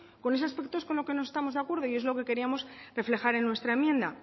con ese aspecto es con lo que no estamos de acuerdo y es lo que queríamos reflejar en nuestra enmienda